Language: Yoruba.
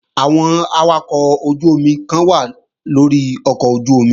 Àwọn awakọ̀ ojú-omi kan wà lórí ọkọ̀ ojú-omi